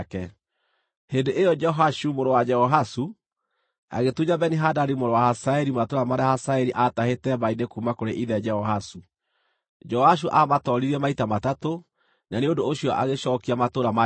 Hĩndĩ ĩyo Jehoashu mũrũ wa Jehoahazu agĩtunya Beni-Hadadi mũrũ wa Hazaeli matũũra marĩa Hazaeli aatahĩte mbaara-inĩ kuuma kũrĩ ithe Jehoahazu. Joashu aamũtooririe maita matatũ, na nĩ ũndũ ũcio agĩcookia matũũra ma Isiraeli.